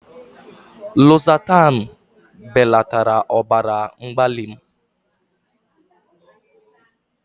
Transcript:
Losatanu belatara ọbara mgbali m.